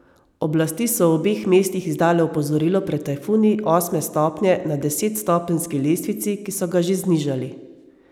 Oblasti so v obeh mestih izdale opozorilo pred tajfuni osme stopnje na desetstopenjski lestvici, ki so ga že znižali.